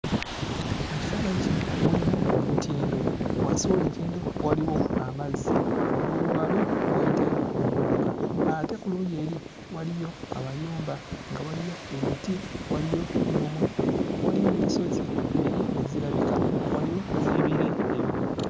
Mu kifaananyi kino mulimu olutindo. Wansi w'olutindo waliwo amazzi, waggulu waalwo wayitayo emmotoka. Ate ku luuyi eri waliyo amayumba, nga waliyo emiti, waliyo n'omuddo, waliyo n'ensozi eri ezirabika, waliyo n'ebire ebikutte.